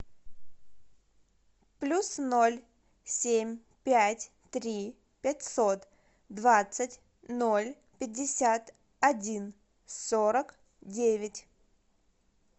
плюс ноль семь пять три пятьсот двадцать ноль пятьдесят один сорок девять